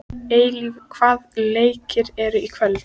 Eilíf, hvaða leikir eru í kvöld?